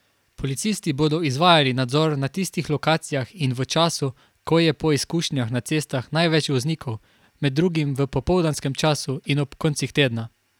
Policisti bodo izvajali nadzor na tistih lokacijah in v času, ko je po izkušnjah na cestah največ voznikov, med drugim v popoldanskem času in ob koncih tedna.